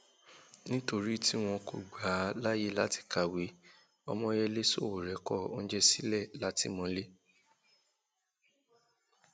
nítorí tí wọn kò gbà á láyè láti kàwé ọmoyèlé sowore kọ oúnjẹ sílẹ látìmọlé